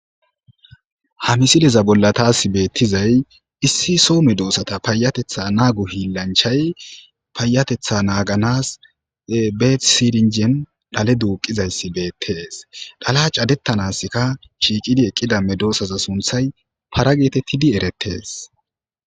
ha misileza bolla taas beettizay issi soo medoossata paayatetha naa gu hi lanchay payatetha naaganas betisirinjen dhale duuqizayssi beettees dhala cadettanaska shiiqidi eqqida medoosaza sunthay para geetettidi erettees